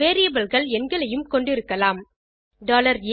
Variableகள் எண்களையும் கொண்டிருக்கலாம் a100